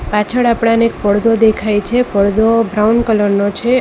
પાછળ આપણાને એક પડદો દેખાય છે પડદો બ્રાઉન કલરનો છે.